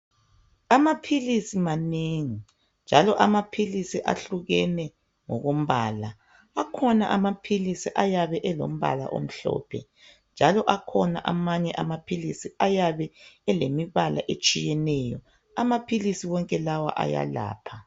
Amaphilisi manengi njalo amaphilisi ahlukene ngokumbala akhona amaphilisi ayabe elombala omhlophe njalo akhona amanye amaphilisi ayabe elembala etshiyeneyoamaphilisi wonke lawa ayalapha